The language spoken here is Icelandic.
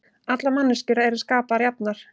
Allar manneskjur eru skapaðar jafnar